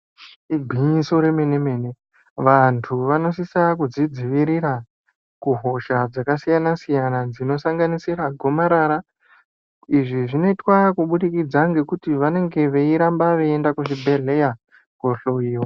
Igwinyiso remene mene antu vanosisa kuzvidziirira kusha dzakasiya siyana dzinosanganisira gomarara izvi zvoitwa kubudikidza ngekuti vanenge veiramba veienda kuzvibhedhlera kohloyiwa .